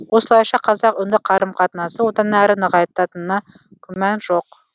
осылайша қазақ үнді қарым қатынасы одан әрі нығайтатынына күмән жоқ